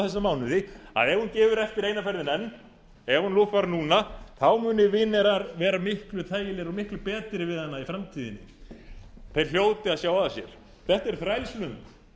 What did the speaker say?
þessa mánuði að ef hún gefur eftir eina ferðina enn ef hún lúffar núna þá muni vinir hennar verða miklu þægilegri og miklu betri við hana í framtíðinni þeir hljóti að sjá að sér þetta er þrælslund